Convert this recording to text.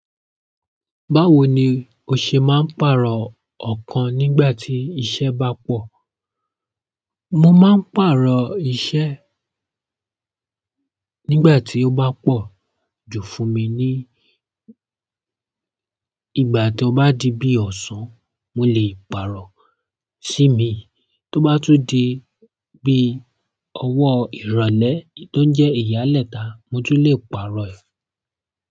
Báwo ni o ṣe máa ń pààrọ̀ ọ̀kan nígbà tí iṣẹ́ bá pọ̀? Mo máa ń pàrọ̀ iṣẹ́ nígbà tí ó bá pọ̀ ju fún mi ní, ìgbà tó bá di bí ọ̀sán mo lè pààrọ̀ sí míì, tó bá tún di bí ọwọ́ ìrọ̀lẹ́ tó jẹ́ ìyálẹ̀ta, mo tún lè pààrọ̀ ẹ̀.